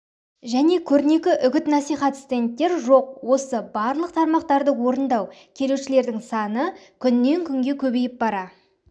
және көрнекі үгіт-насихат стендттер жоқ осы барлық тармақтарды орындау келушілердің саны күннен күнге көбейіп бара